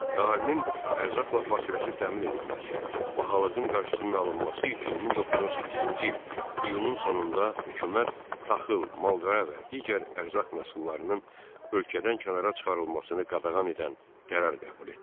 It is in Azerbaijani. Əhalinin ərzaqla fasiləsiz təmin edilməsi, bahalığın qarşısının alınması üçün 1918-ci il iyunun sonunda hökumət taxıl, mal-qara və digər ərzaq məhsullarının ölkədən kənara çıxarılmasını qadağan edən qərar qəbul etdi.